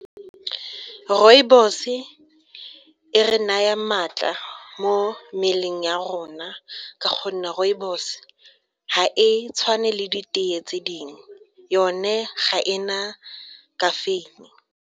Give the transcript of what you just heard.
Rooibos-e e re naya maatla mo mmeleng ya rona ka gonne rooibos ga e tshwane le ditee tse dingwe yone ga e na caffeine.